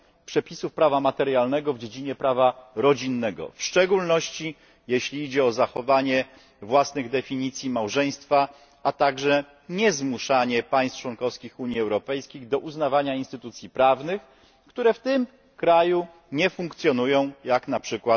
przepisów prawa materialnego w dziedzinie prawa rodzinnego, w szczególności jeśli chodzi o zachowanie własnych definicji małżeństwa. Nie zmuszany też państw członkowskich Unii Europejskiej do uznawania instytucji prawnych, które w danym kraju nie funkcjonują, jak np.